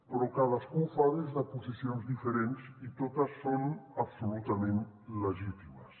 però cadascú ho fa des de posicions diferents i totes són absolutament legítimes